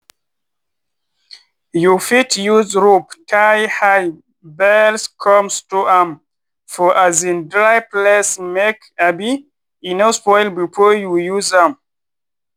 you fit use rope tie hay bales come store am for um dry place make um e no spoil before you use am.